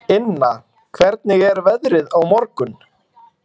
Inna, hvernig er veðrið á morgun?